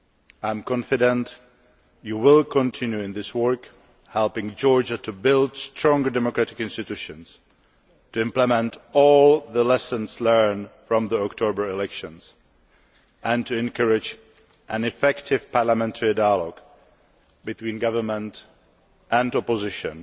I am confident that you will continue in this work, helping Georgia to build stronger democratic institutions, to implement all the lessons learned from the October elections, and to encourage an effective parliamentary dialogue between government and opposition,